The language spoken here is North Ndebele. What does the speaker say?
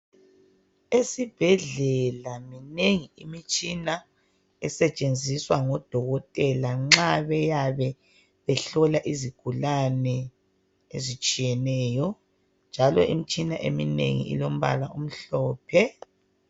Esibhedlela minengi imitshina esetshenziswa ngodokotela nxa beyabe behlola izigulane ezitshiyeneyo. Njalo imitshina eminengi ilombala omhlophe.